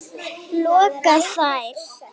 loka þær.